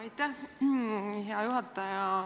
Aitäh, hea juhataja!